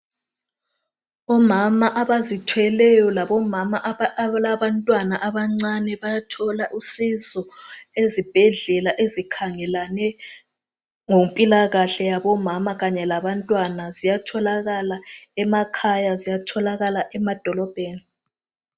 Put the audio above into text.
Omama abazithweleyo labomama abalabantwana abancane bayathola usizo ezibhedlela ezikhangelane lempilakahle yabomama kanye labantwana. Ziyatholakala emakhaya, ziyatholakala emadolobheni.